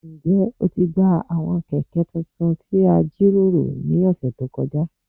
Njẹ o ti gba awọn kẹkẹ tuntun ti a jiroro ni ọsẹ to kọja?